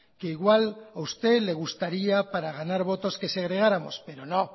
que igual a usted le gustaría para ganar votos que segregáramos pero no